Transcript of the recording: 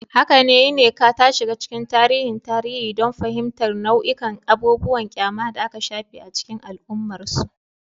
Haka ne, Nneka ta shiga cikin tarihin tarihi don fahimtar nau'ikan abubuwan ƙyama da aka shafe a cikin al'ummarsu.